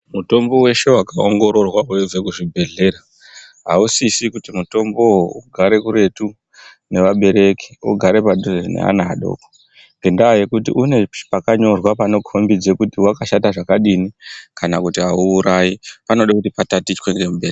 Mutombo weshe wakaongororwa weibva kuzvibhedhlera ausizi kuti mutombo uwowo ugare kuruti nevabereki ugare padhuze nevana vadoko une pakanyorwa panokombidza kuti wakashata zvakadini kana kuti auurayi panoda kuti patatichwa nemubereki.